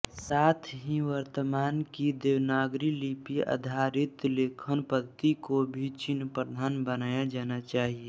साथ ही वर्तमान की देवनागरी लिपि आधारित लेखनपद्धति को भी चिह्न प्रधान बनाया जाना चाहिये